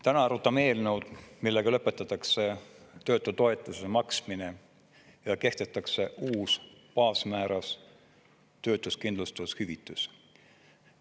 Täna arutame eelnõu, millega lõpetatakse töötutoetuse maksmine ja kehtestatakse uus baasmääras töötuskindlustushüvitis.